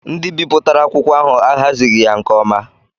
Ndị bipụtara akwụkwọ ahụ ahazighi ya nke ọma.